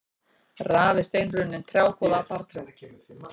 Raf er steinrunnin trjákvoða af barrtrjám.